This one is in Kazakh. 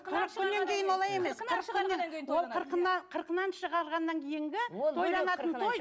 қырық күннен кейін олай емес қырқынан шығарғаннан кейінгі тойланатын той